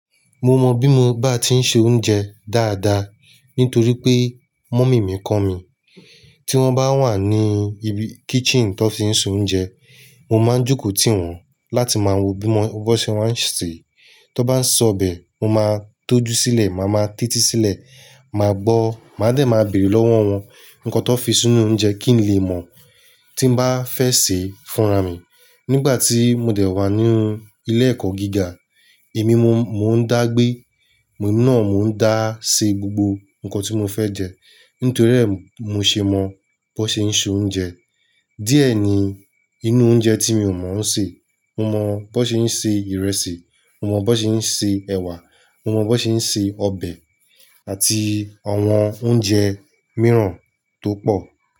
Mo mọ bí mo bá ti ń se oúnjẹ dáadáa nítorí pé mummy mi kọ́ mi. Tí wọ́n bá wà ní i ibi kitchen tó ti ń ṣe oúnjẹ, mo máa ń jókòó tì wọ́n láti máa wo bí mo, bó ṣe máa ń sè. To bá ń sọ ọbẹ̀, mo máa ń tójú sílẹ̀, màá ma títí sílẹ̀, màá gbọ́, màá dẹ̀ ma bèrè lọ́wọ́ wọn nǹkan tón fi sínú oúnjẹ kí n lè mọ̀ tí bá fẹ́ sè fúnra mi. Nígbà tí mo dẹ̀ wá ní ilé ẹ̀kọ́ gíga, èmi mo, mo ń dá gbé, mo náà mo ń dá se gbogbo nǹkan tí mo fẹ́ jẹ. Nítorí rẹ̀ mu ṣe mọ bó ṣe ń se oúnjẹ. Díẹ̀ ni inú oúnjẹ tí mi ò mọ̀ún ṣe. Mo mọ bó ṣe ń se ìrẹsì, mo mọ bó ṣe ń se ẹ̀wà, mo mọ bó ṣe ń se ọbẹ̀ àti àwọn oúnjẹ mìíràn tó pọ̀